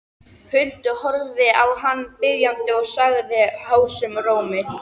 Huldu, horfði á hana biðjandi og sagði hásum rómi